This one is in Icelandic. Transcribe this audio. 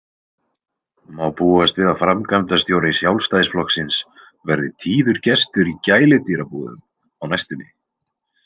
Má búast við að framkvæmdastjóri Sjálfstæðisflokksins verði tíður gestur í gæludýrabúðum á næstunni?